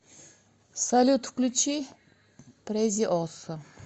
салют включи презиосо